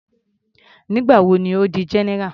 Nígbà wo ni Ó di general.